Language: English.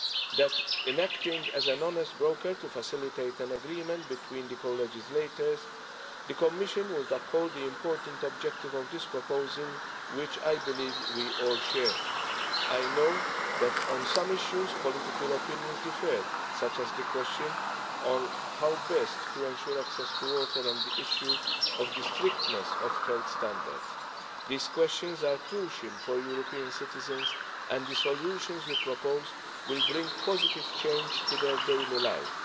that, in acting as an honest broker to facilitate an agreement between the co legislators, the Commission would uphold the important objective of this proposal, which I believe we all share. I know that on some issues, political opinions differ, such as the question of how best to ensure access to water and the issue of the strictness of health standards. These questions are crucial for European citizens, and the solutions we propose will bring positive change to their daily life.